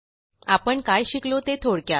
आपण काय शिकलो ते थोडक्यात